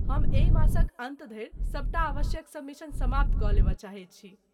हम एहि मासक अन्त धरि सबटा आवश्यक सबमिशन समाप्त कऽ लेबय चाहैत छी।